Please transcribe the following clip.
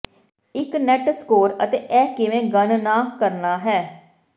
ਇੱਕ net score ਅਤੇ ਇਹ ਕਿਵੇਂ ਗਣਨਾ ਕਰਨਾ ਹੈ